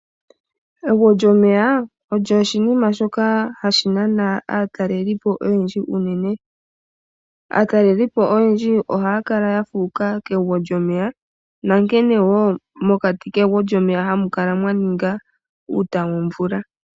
Egwo lyomeya olyo oshinima shoka hashi nana aatalelipo oyendji unene. Aatalelipo oyendji ohaya kala ya fuuka kegwo lyomeya, na nkene wo mokati kegwo lyomeya ha mu kala mwa ninga uuta womvula.